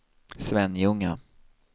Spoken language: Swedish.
Svenljunga